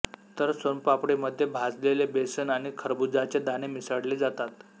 तर सोनपापडीमध्ये भाजलेले बेसन आणि खरबुजाचे दाणे मिसळले जातात